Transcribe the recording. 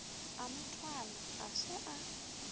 a mothwalwa ga se a